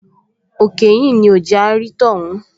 Òkè ìhín ni ò jẹ́ á rí tọ́hún